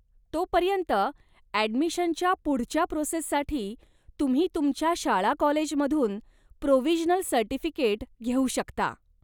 तोपर्यंत, ॲडमिशनच्या पुढच्या प्रोसेससाठी, तुम्ही तुमच्या शाळा कॉलेजमधून प्रोविजनल सर्टिफिकेट घेऊ शकता.